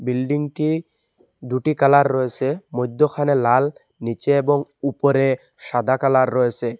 বিল্ডিংটি দুটি কালার রয়েসে মৈদ্যোখানে লাল নীচে এবং উপরে সাদা কালার রয়েসে।